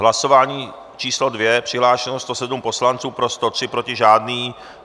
Hlasování číslo 2, přihlášeno 107 poslanců, pro 103, proti žádný.